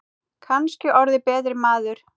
Kannski orðið betri maður.